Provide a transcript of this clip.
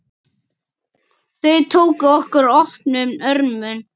Þau tóku okkur opnum örmum.